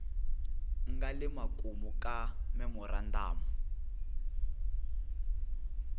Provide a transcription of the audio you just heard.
nga le makumu ka memorandamu